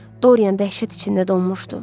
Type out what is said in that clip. Dorian dəhşət içində donmuşdu.